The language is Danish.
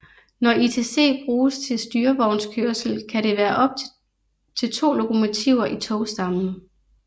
Når ITC bruges til styrevognskørsel kan der være op til to lokomotiver i togstammen